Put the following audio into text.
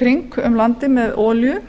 kringum landið með olíu